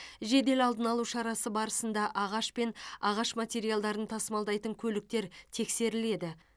жедел алдын алу шарасы барысында ағаш пен ағаш материалдарын тасымалдайтын көліктер тексеріледі